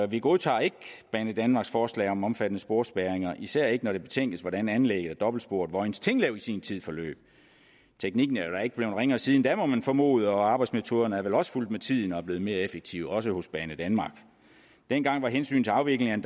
vi godtager ikke banedanmarks forslag om omfattende sporspærringer især ikke når det betænkes hvordan anlægget af dobbeltsporet vojens tinglev i sin tid forløb teknikken er jo da ikke blevet ringere siden da må man formode og arbejdsmetoderne er vel også fulgt med tiden og blevet mere effektive også hos banedanmark dengang var hensynet til afviklingen